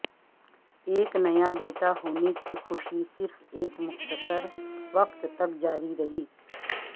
ایک نیا بیٹا ہونے کی خوشی صرف ایک مختصر وقت تک جاری رہی